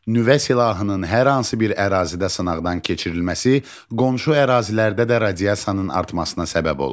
Nüvə silahının hər hansı bir ərazidə sınaqdan keçirilməsi qonşu ərazilərdə də radiasiyanın artmasına səbəb olur.